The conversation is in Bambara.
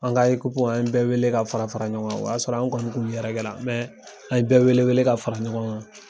An ka ikipu an ye bɛɛ wele ka fara fara ɲɔgɔn kan o y'a sɔrɔ an kɔni kun yɛrɛkɛ la an ye bɛɛ wele wele ka fara ɲɔgɔn ka.